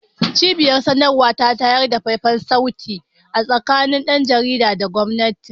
Cibiyar sadarwa ta tayar da faifan sauti tsakanin dan jaridar da gwamnan